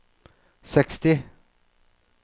seksti